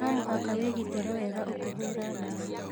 No mũhaka wĩ gitĩre wega ukĩhũra ndawa